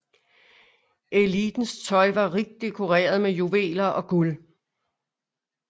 Elitens tøj var rigt dekoreret med juveler og guld